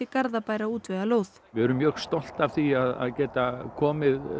Garðabær að útvega lóð við erum mjög stolt af því að geta komið